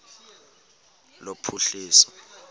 lophuhliso